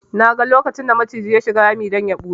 Naga lokacin da maciji ya shiga rami don ya ɓuya